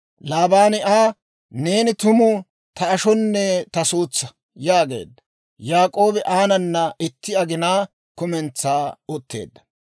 Laabaani Aa, «Neeni tumu ta ashonne ta suutsaa» yaageedda. Yaak'oobi aanana itti aginaa kumentsaa utteedda.